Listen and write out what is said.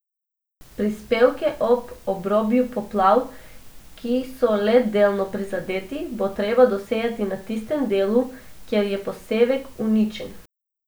Posevke ob obrobju poplav, ki so le delno prizadeti, bo treba dosejati na tistem delu, kjer je posevek uničen.